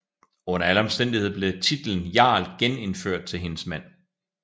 Under alle omstændigheder blev titlen jarl genindført til hendes mand